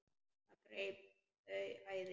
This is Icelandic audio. Það greip þau æði.